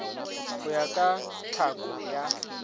go ya ka tlhako ya